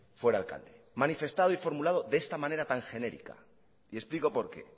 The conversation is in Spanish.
fuera alcalde manifestado y formulado de esta manera tan genérica y explico por qué